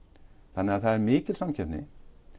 þannig að það er mikil samkeppni